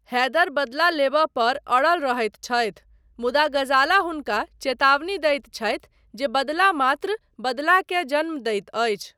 हैदर बदला लेबय पर अड़ल रहैत छथि, मुदा ग़ज़ाला हुनका चेतावनी दैत छथि जे बदला मात्र बदलाकेँ जन्म दैत अछि।